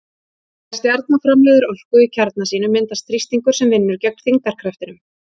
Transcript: Þegar stjarna framleiðir orku í kjarna sínum myndast þrýstingur sem vinnur gegn þyngdarkraftinum.